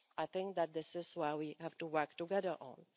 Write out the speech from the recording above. I think that this is what we have to work together